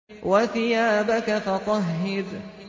وَثِيَابَكَ فَطَهِّرْ